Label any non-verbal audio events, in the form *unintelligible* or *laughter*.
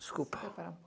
Desculpa. *unintelligible*